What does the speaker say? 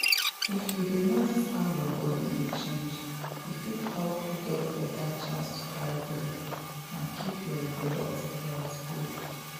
if you dey notice how your body dey change e fit help you get better chance to carry belle and keep your reproductive health good.